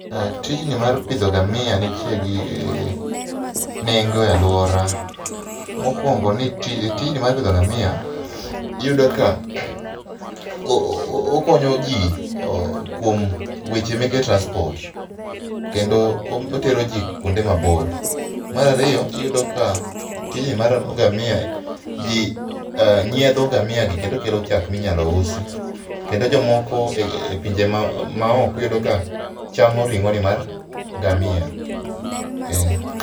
Tijni mar pidho ngamia nitie gi nengo e aluora. Mokuongo ni tijni mar pidho ngamia iyudo ka okonyo jii kuom weche meke transport kendo otero jii kuonde mabor. Mar ariyo iyudo ka tijni mar ngamia jii, nyiedho ngamia gi kendo kelo chak minyalo usi kendo jomoko e pinje maoko iyudo ka chamo ring'o ni mar ngamia, eeh.